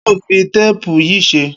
Kiló n fi táàpù yi ṣé?